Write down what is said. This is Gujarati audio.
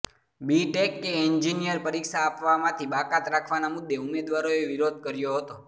બી ટેક કે એન્જિનિયર પરીક્ષા આપવામાંથી બાકાત રાખવાના મુદ્દે ઉમેદવારોએ વિરોધ કર્યો હતો